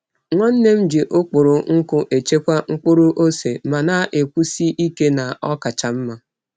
Nwanne m ji ụkpụrụ nkụ echekwa mkpụrụ ose ma na-ekwusi ike na ọ kacha mma.